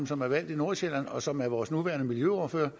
som er valgt i nordsjælland og som er vores nuværende miljøordfører